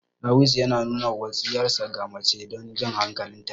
Ɗawisu yana nuna wutsiyarsa ga mace don jan hankalin ta.